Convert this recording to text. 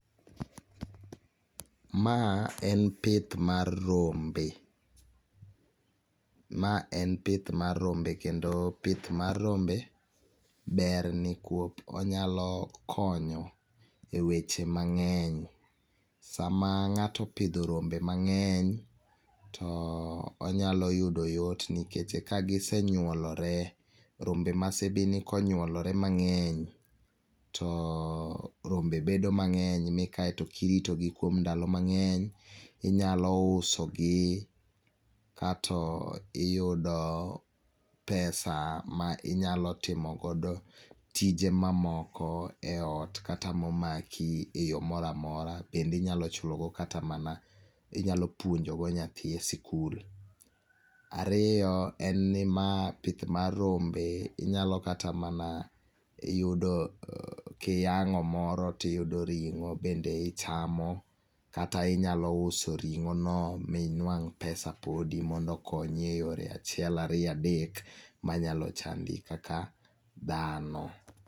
Ma en pith mar rombe, ma en pith mar rombe kendo pith mar rombe ber nikwop onyalo konyo e weche mang'eny. Sama ng'ato opidho rombe mang'eny, to onyalo yudo yot nikeche ka gise nyuolore, rombe ma sibini konyuolore mang'eny. Rombe bet mang'eny ni kaeto kiritogi kuom ndalo mang'eny inyalo usogi kato iyudo pesa ma inyalo timogodo tije mamoko e ot kata momaki e yo moramora. Bendinyalo chulogo kata mana inyalo puonjogo nyathi e sikul. Ariyo en ni ma pith mar rombe, inyalo kata mana yudo kiyang'o moro tiyudo ring'o bende ichamo. Kata inyalo uso ring'ono minwang' pesa podi mondo konyi e yore achiel ariyo adek manyalo chandi kaka dhano.